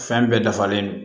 Fɛn bɛɛ dafalen don